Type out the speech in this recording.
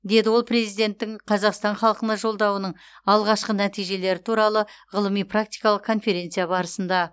деді ол президенттің қазақстан халқына жолдауының алғашқы нәтижелері туралы ғылыми практикалық конференция барысында